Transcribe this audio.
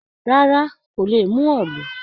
Rárá, kò lè mú òòlù.